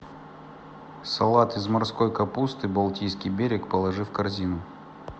салат из морской капусты балтийский берег положи в корзину